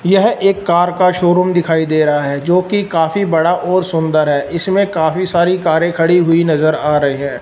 यह एक कार का शोरूम दिखाई दे रहा है जो कि काफी बड़ा और सुंदर है इसमें काफी सारी कारें खड़ी हुई नजर आ रही हैं।